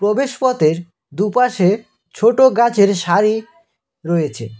প্রবেশ পথের দু'পাশে ছোট গাছের সারি রয়েছে।